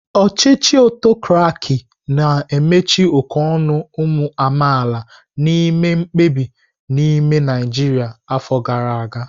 Ochichi autokraki na amachi oke onu umu amaala na ime mkpebi n'ime Naijria afọ gara aga.